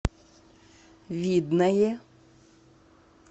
видное